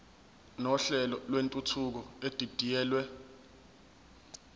nohlelo lwentuthuko edidiyelwe